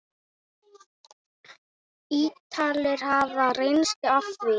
Ítalir hafa reynslu af því.